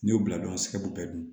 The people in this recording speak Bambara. N'i y'u bila dɔrɔn sɛbɛ bɛɛ dun